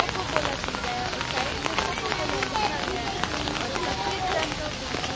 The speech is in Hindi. कोका कोला पी रहा है और साइड में कोका कोला लिखा गया है और सफेद रंग का बिल्कुल--